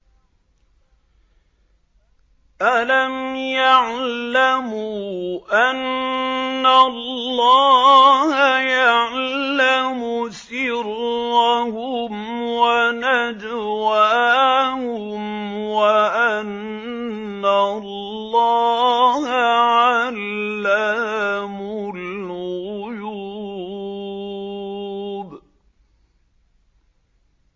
أَلَمْ يَعْلَمُوا أَنَّ اللَّهَ يَعْلَمُ سِرَّهُمْ وَنَجْوَاهُمْ وَأَنَّ اللَّهَ عَلَّامُ الْغُيُوبِ